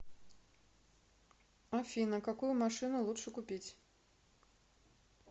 афина какую машину лучше купить